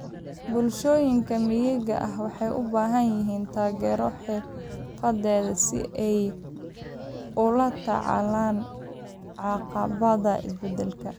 Bulshooyinka miyiga ah waxay u baahan yihiin taageero xirfadeed si ay ula tacaalaan caqabadaha isbeddelka.